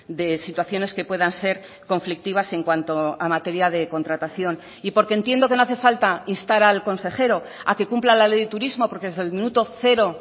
de situaciones que puedan ser conflictivas en cuanto a materia de contratación y porque entiendo que no hace falta instar al consejero a que cumpla la ley de turismo porque desde el minuto cero